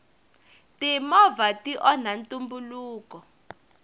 timovha ti onha ntumbuluko